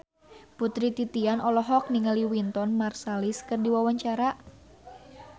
Putri Titian olohok ningali Wynton Marsalis keur diwawancara